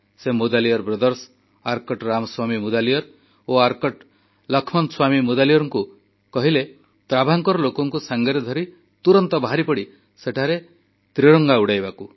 ସେ ମୁଦାଲିୟାର ଭ୍ରାତା ଆର୍କୋଟ ରାମାସ୍ୱାମୀ ମୁଦାଲିୟାର ଓ ଆର୍କୋଟ ଲକ୍ଷ୍ମଣସ୍ୱାମୀ ମୁଦାଲିୟାରଙ୍କୁ କହିଲେ ତ୍ରାଭାଙ୍କୋର ଲୋକଙ୍କୁ ସାଙ୍ଗରେ ଧରି ତୁରନ୍ତ ବାହାରି ପଡ଼ି ସେଠାରେ ପହଞ୍ଚି ତ୍ରିରଙ୍ଗା ଉଡ଼ାଇବାକୁ